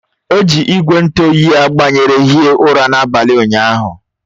O ji igwe ntụ oyi a gbanyere hie ụra n'abalị ụnyahụ